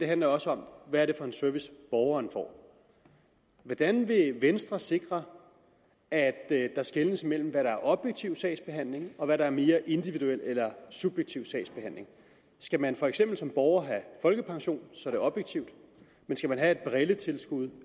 handler også om hvad det er for en service borgeren får hvordan vil venstre sikre at der skelnes mellem hvad der er objektiv sagsbehandling og hvad der er mere individuel eller subjektiv sagsbehandling skal man for eksempel som borger have folkepension så er det objektivt men skal man have et brilletilskud